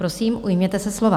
Prosím, ujměte se slova.